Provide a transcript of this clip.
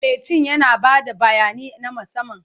Buletin yana ba da bayani na musamman.